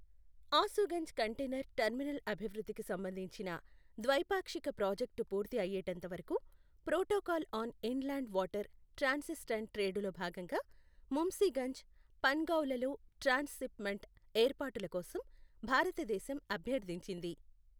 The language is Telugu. ఆశూగంజ్ కంటేనర్ టర్మినల్ అభివృద్ధి కి సంబంధించిన ద్వైపాక్షిక ప్రాజెక్టు పూర్తి అయ్యేటంత వరకు protocol on inland water transit and trade లో భాగంగా ముంశీగంజ్, పన్ గావ్ లలో ట్రాన్స్ శిప్ మెంట్ ఏర్పాటుల కోసం భారతదేశం అభ్యర్థించింది.